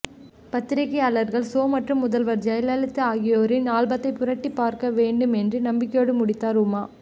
பத்திரிக்கையாளர் சோ மற்றும் முதல்வர் ஜெயலலிதா ஆகியோரின் ஆல்பத்தை புரட்டி பார்க்க வேண்டும் என்று நம்பிக்கையோடு முடித்தார் உமா